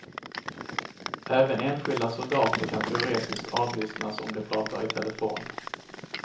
Även enskilda soldater kan teoretiskt avlyssnas om de pratar i telefon.